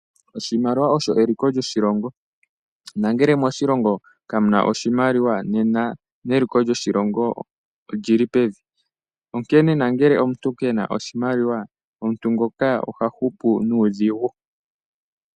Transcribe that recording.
Oshimaliwa osho eliko lyoshilongo nangele moshilongo kamuna oshimaliwa nena neliko lyoshilongo olili pevi onkene nangele omuntu kena oshimaliwa omuntu ngoka oha upu nuudhigu.